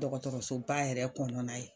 Dɔgɔtɔrɔsoba yɛrɛ kɔnɔnna ye.